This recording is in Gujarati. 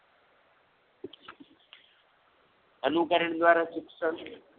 અનુકરણ દ્વારા શિક્ષણ